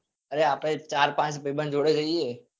અરે આપડે ચાર પાંચ ભઈબંધ જોડે જઈએ